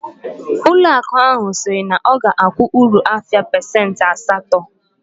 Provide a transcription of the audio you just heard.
Ụlọ akụ ahu siri na oga akwu uru afia pasent asato